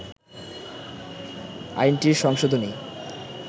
আইনটির সংশোধনী